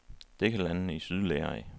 Det kan landene i syd lære af.